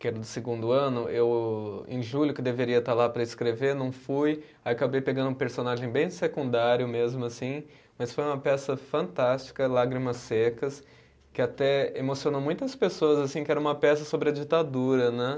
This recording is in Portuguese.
que era do segundo ano, eu, em julho, que deveria estar lá para escrever, não fui, aí acabei pegando um personagem bem secundário mesmo, assim, mas foi uma peça fantástica, Lágrimas Secas, que até emocionou muitas pessoas, assim, que era uma peça sobre a ditadura, né?